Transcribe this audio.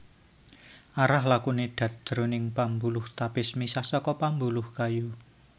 Arah lakuné dat jroning pambuluh tapis misah saka pambuluh kayu